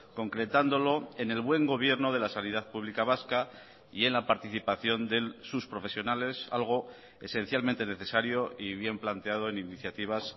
concretándolo en el buen gobierno de la sanidad pública vasca y en la participación de sus profesionales algo esencialmente necesario y bien planteado en iniciativas